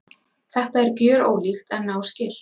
Þetta er gjörólíkt en náskylt.